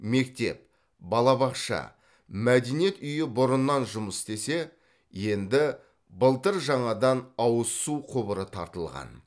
мектеп балабақша мәдениет үйі бұрыннан жұмыс істесе енді былтыр жаңадан ауызсу құбыры тартылған